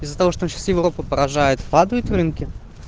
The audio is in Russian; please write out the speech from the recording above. из-за того что он сейчас европу поражает падают рынки